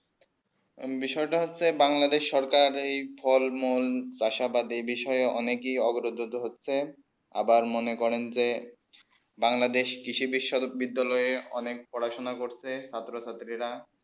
বিষয়ে তা হচ্ছেই বাংলাদেশ সরকার ফল মূল রাস বাদী বিষয়ে অনেক ই অবরুদ্ধ হচ্ছেই আবার মনে করেন যে বাংলাদেশ কৃষি বিদ্যালয়ে অনেক পড়া সোনা করছে ছাত্র ছাত্রী রা